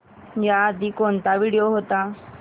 याआधी कोणता व्हिडिओ होता